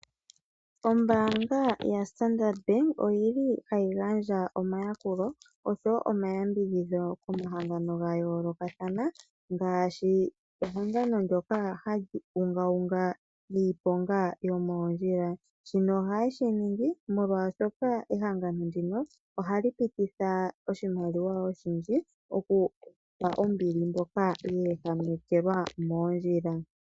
Ombaanga yoStandard Bank oyili hayi gandja omayakulo , oshowo omayambidhidho komahangano ga yoolokathana; ngaashi ehangano ndyoka hali ungaunga niiponga yomoondjila. Shino ohaye shi ningi molwaashoka, ehangano ndino ohali pititha oshimaliwa oshindji okugandja ombili kwaamboka ya ehamekelwa moondjila.